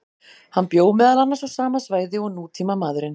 Hann bjó meðal annars á sama svæði og nútímamaðurinn.